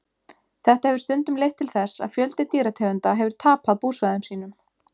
Þetta hefur stundum leitt til þess að fjöldi dýrategunda hefur tapað búsvæðum sínum.